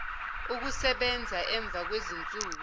ukusebenza emva kwezinsuku